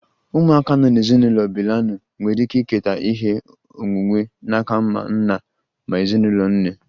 Ụmụaka nọ n'ezinụlọ bilinalụ nwere ike iketa ihe onwunwe n'aka ma nna ma ezinụlọ nne